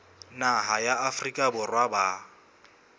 naha ya afrika borwa ba